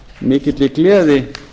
mikilli gleði